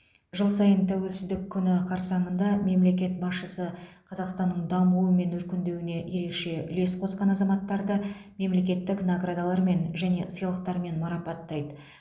жыл сайын тәуелсіздік күні қарсаңында мемлекет басшысы қазақстанның дамуы мен өркендеуіне ерекше үлес қосқан азаматтарды мемлекеттік наградалармен және сыйлықтармен марапаттайды